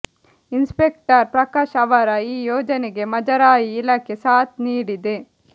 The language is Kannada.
ಇನ್ಸ್ಪೆಕ್ಟರ್ ಪ್ರಕಾಶ್ ಅವರ ಈ ಯೋಜನೆಗೆ ಮುಜರಾಯಿ ಇಲಾಖೆ ಸಾಥ್ ನೀಡಿದೆ